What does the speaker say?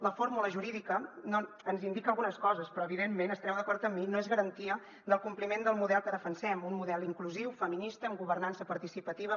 la fórmula jurídica ens indica algunes coses però evidentment estareu d’acord amb mi no és garantia del compliment del model que defensem un model inclusiu feminista amb governança participativa